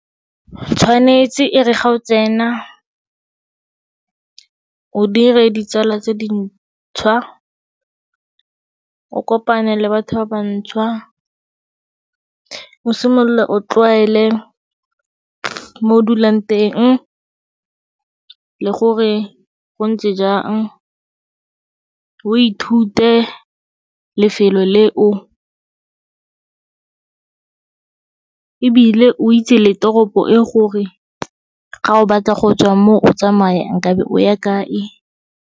Tshwanetse e re ga o tsena, o dire ditsala tse dintšhwa, o kopane le batho ba bantšhwa, o simolole o tlwaele mo o dulang teng le gore go ntse jang. O ithute lefelo leo ebile o itse le toropo eo gore ga o batla go tswa mo o tsamaya nkabe o ya kae.